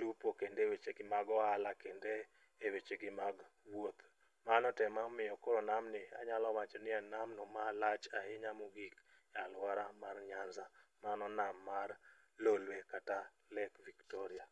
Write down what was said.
lupo, kendo e wechegi mag ohala kendo e wechegi mag wuoth. Mano to emomiyo koro namni anyalo wacho ni en namno malach ahinya mogik alwora mar nyanza mano nam mar lolwe kata lake victoria.